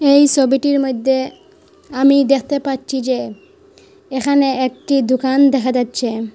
এই সবিটির মদ্যে আমি দেখতে পাচ্ছি যে এখানে একটি দোকান দেখা যাচ্ছে।